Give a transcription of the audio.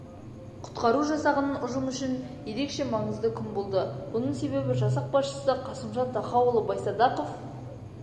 құтқару жасағының ұжымы үшін ерекше маңызды күн болды бұның себебі жасақ басшысы қасымжан тахауұлы байсадақов